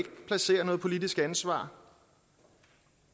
placere noget politisk ansvar